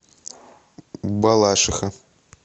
балашиха